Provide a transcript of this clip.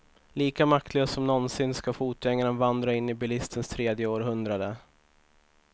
Lika maktlös som någonsin ska fotgängaren vandra in i bilistens tredje århundrade.